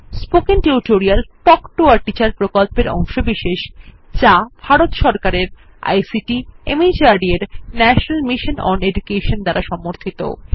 spoken tutorial talk to a teacher প্রকল্পের অংশবিশেষ যা ভারত সরকারের আইসিটি মাহর্দ এর ন্যাশনাল মিশন ওন এডুকেশন দ্বারা সমর্থিত